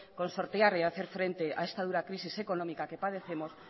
con sortear y hacer frente a esta dura crisis económica que padecemos